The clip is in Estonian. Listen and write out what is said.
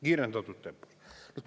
Kiirendatud tempos!